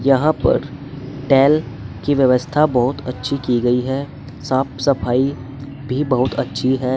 यहां पर टायल की व्यवस्था बहुत अच्छी की गई है साफ सफाई भी बहुत अच्छी है।